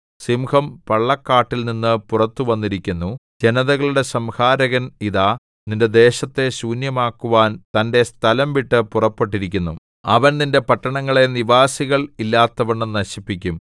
സിംഹം പള്ളക്കാട്ടിൽ നിന്ന് പുറത്തുവന്നിരിക്കുന്നു ജനതകളുടെ സംഹാരകൻ ഇതാ നിന്റെ ദേശത്തെ ശൂന്യമാക്കുവാൻ തന്റെ സ്ഥലം വിട്ടു പുറപ്പെട്ടിരിക്കുന്നു അവൻ നിന്റെ പട്ടണങ്ങളെ നിവാസികൾ ഇല്ലാത്തവണ്ണം നശിപ്പിക്കും